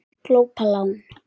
Glópa lán